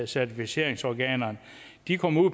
certificeringsorganerne de kommer